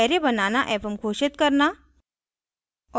array बनाना एवं घोषित करना